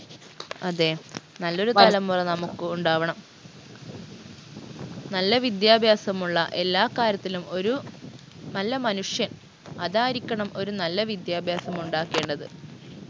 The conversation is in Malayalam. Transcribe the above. അതെ നല്ലൊരു തലമുറ നമുക്ക് ഉണ്ടാവണം നല്ല വിദ്യാഭ്യാസമുള്ള എല്ലാ കാര്യത്തിലും ഒരു നല്ല മനുഷ്യൻ അതായിരിക്കണം ഒരു നല്ല വിദ്യാഭ്യാസമുണ്ടാക്കേണ്ടത്